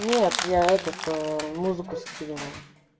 нет я этот музыку скидывала